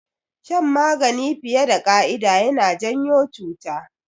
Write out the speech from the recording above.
Shan magani fiye da ƙa'ida yana janyo cuta